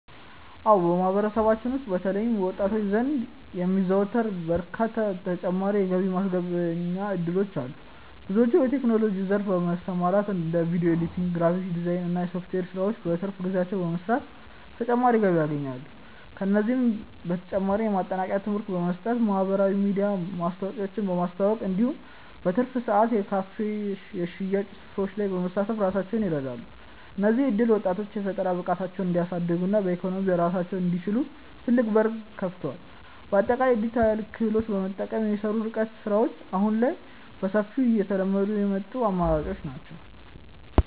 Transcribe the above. አዎ በማህበረሰባችን ውስጥ በተለይም በወጣቶች ዘንድ የሚዘወተሩ በርካታ ተጨማሪ የገቢ ማስገኛ እድሎች አሉ። ብዙዎች በቴክኖሎጂው ዘርፍ በመሰማራት እንደ ቪዲዮ ኤዲቲንግ፣ ግራፊክስ ዲዛይን እና የሶፍትዌር ስራዎችን በትርፍ ጊዜያቸው በመስራት ተጨማሪ ገቢ ያገኛሉ። ከእነዚህም በተጨማሪ የማጠናከሪያ ትምህርት በመስጠት፣ በማህበራዊ ሚዲያ ማስታወቂያዎችን በማስተዋወቅ እንዲሁም በትርፍ ሰዓት የካፌና የሽያጭ ስራዎች ላይ በመሳተፍ ራሳቸውን ይረዳሉ። እነዚህ እድሎች ወጣቶች የፈጠራ ብቃታቸውን እንዲያሳድጉና በኢኮኖሚ ራሳቸውን እንዲችሉ ትልቅ በር ከፍተዋል። በአጠቃላይ የዲጂታል ክህሎትን በመጠቀም የሚሰሩ የርቀት ስራዎች አሁን ላይ በሰፊው እየተለመዱ የመጡ አማራጮች ናቸው።